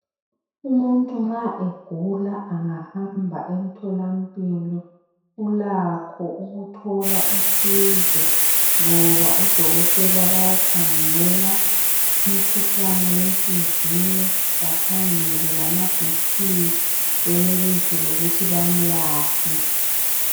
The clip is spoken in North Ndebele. Umuntu nxa egula angahamba emtholampilo ulakho ukuthola usizo ngoba udokotela bayakhangela umkhuhlane wenhliziyo bakhangele lama BP benelise ukuthi bamlaphe.